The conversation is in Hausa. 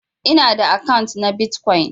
Ina da akant na Bitcoin.